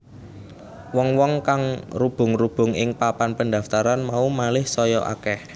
Wong wong kang rubung rubung ing papan pendaftaran mau malih saya akeh